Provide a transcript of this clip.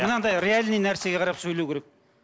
мынандай реальный нәрсеге қарап сөйлеу керек